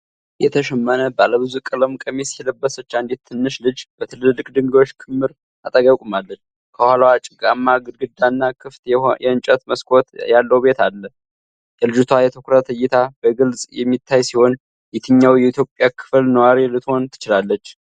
የተሸመነ ባለ ብዙ ቀለም ቀሚስ የለበሰች አንዲት ትንሽ ልጅ በትልልቅ ድንጋዮች ክምር አጠገብ ቆማለች። ከኋላዋ ጭቃማ ግድግዳና ክፍት የእንጨት መስኮት ያለው ቤት አለ። የልጅቷ የትኩረት እይታ በግልጽ የሚታይ ሲሆን፣ የትኛው የኢትዮጵያ ክፍል ነዋሪ ልትሆን ትችላለች?